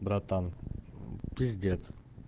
братан пиздец